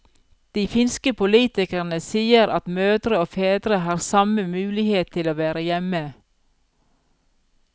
De finske politikerne sier at mødre og fedre har samme mulighet til å være hjemme.